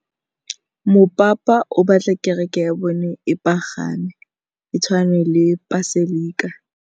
Mopapa o batla kereke ya bone e pagame, e tshwane le paselika.